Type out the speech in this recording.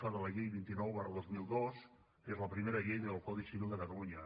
f de la llei vint nou dos mil dos que és la primera llei del codi civil de catalunya